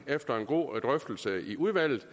efter en god drøftelse i udvalget